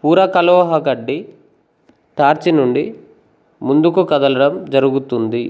పూరకలోహకడ్ది టార్చినుండి ముందుకు కదలడం జరుగుతుంది